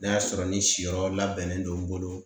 N'a y'a sɔrɔ ni siyɔrɔ labɛnnen don n bolo.